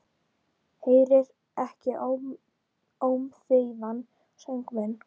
Heyrir ekki ómþýðan söng minn.